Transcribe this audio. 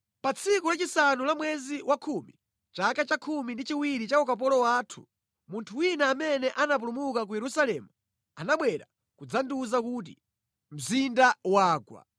Pa tsiku lachisanu la mwezi wakhumi, chaka chakhumi ndi chiwiri cha ukapolo wathu, munthu wina amene anapulumuka ku Yerusalemu anabwera kudzandiwuza kuti, “Mzinda wagwa!”